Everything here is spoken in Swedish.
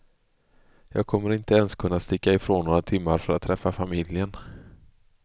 Jag kommer inte ens att kunna sticka ifrån några timmar för att träffa familjen.